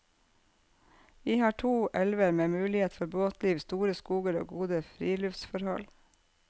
Vi har to elver med muligheter for båtliv, store skoger og gode friluftsforhold.